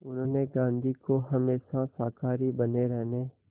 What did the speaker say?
उन्होंने गांधी को हमेशा शाकाहारी बने रहने